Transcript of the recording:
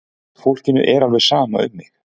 Fólkinu er alveg sama um mig!